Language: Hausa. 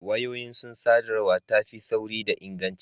Wayoyi sun sa sadarwa ta fi sauri da inganci